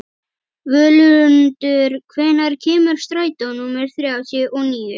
Völundur, hvenær kemur strætó númer þrjátíu og níu?